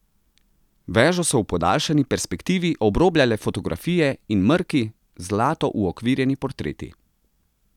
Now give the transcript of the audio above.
Vežo so v podaljšani perspektivi obrobljale fotografije in mrki, zlato uokvirjeni portreti.